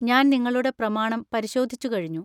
ഞാൻ നിങ്ങളുടെ പ്രമാണം പരിശോധിച്ചുകഴിഞ്ഞു.